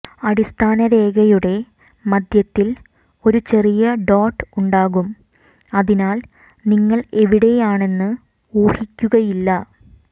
അടിസ്ഥാനരേഖയുടെ മധ്യത്തിൽ ഒരു ചെറിയ ഡോട്ട് ഉണ്ടാകും അതിനാൽ നിങ്ങൾ എവിടെയാണെന്ന് ഊഹിക്കുകയില്ല